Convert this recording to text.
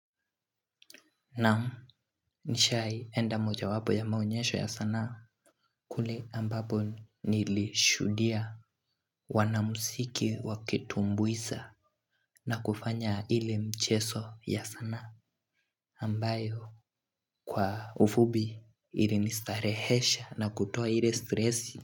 Nam nishai enda mojawapo ya maonyesho ya sanaa kule ambapo nilishuhudia wanamuziki wakitumbuisa na kufanya ile mcheso ya sanaa ambayo kwa ufupi ilinistarehesha na kutoa ile stresi.